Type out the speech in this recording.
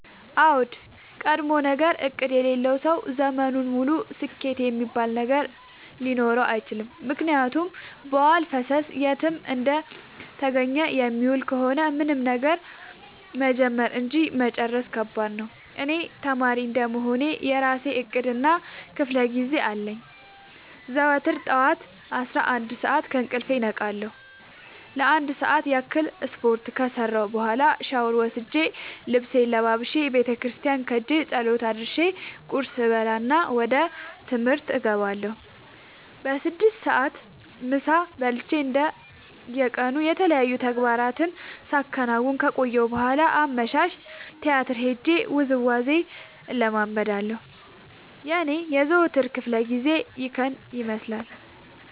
አዎድ ቀድሞነገር እቅድ የሌለው ሰው ዘመኑን ሙሉ ስኬት እሚባል ነገር ሊኖረው አይችልም። ምክንያቱም በዋልፈሰስ የትም እንደተገኘ የሚውል ከሆነ ምንም ነገር መጀመር እንጂ መጨረስ ከባድ ነው። እኔ ተማሪ እንደመሆኔ የእራሴ እቅድ እና ክፋለጊዜ አለኝ። ዘወትር ጠዋት አስራአንድ ሰዓት ከእንቅልፌ እነቃለሁ ለአንድ ሰዓት ያክል ስፓርት ከሰራሁኝ በኋላ ሻውር ወስጄ ልብሴን ለባብሼ ቤተክርስቲያን ኸጄ ፀሎት አድርሼ ቁርስ እበላና ወደ ትምህርት እገባለሁ። በስድስት ሰዓት ምሳ በልቼ እንደ የቀኑ የተለያዩ ተግባራትን ሳከናውን ከቆየሁ በኋላ አመሻሽ ቲያትር ሄጄ ውዝዋዜ እለምዳለሁ የኔ የዘወትር ክፍለጊዜ ይኸን ይመስላል።